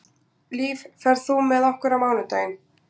Líf, ferð þú með okkur á mánudaginn?